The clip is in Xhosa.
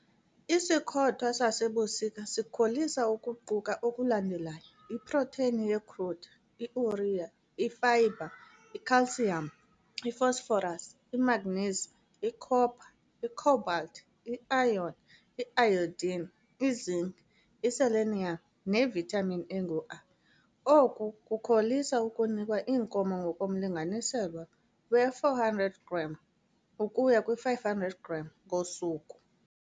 Isikhothwa sasebusika sikholisa ukuquka okulandelayo- iprotheyini ye-crude i-urea, ifayibha, i-calcium, i-phosphorus, i-manganese, i-copper, i-cobalt, i-iron, i-iodine, i-zinc, i-selenium nevithamini engu-A. Oku kukholisa ukunikwa iinkomo ngokomlinganiselo we-400 g - 500 g ngosuku.